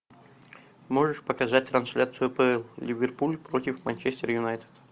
можешь показать трансляцию апл ливерпуль против манчестер юнайтед